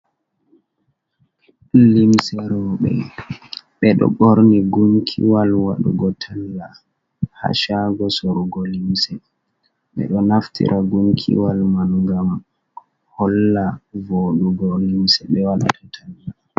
Limse roɓe ɓe ɗo borni gunkiwal wadugo talla ha shago sorugo limse, ɓe ɗo naftira gunkiwal man ngam holla vodugo limse be wadata talla.